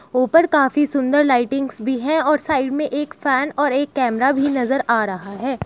ऊपर काफी सुन्दर लाइटिंग्स भी है और साइड में एक फैन और एक कैमरा भी नजर आ रहा है।